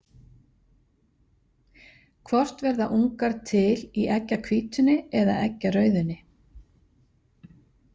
Hvort verða ungar til í eggjahvítunni eða eggjarauðunni?